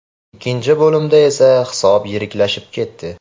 Ikkinchi bo‘limda esa hisob yiriklashib ketdi.